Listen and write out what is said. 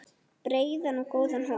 Breiðan og góðan hóp.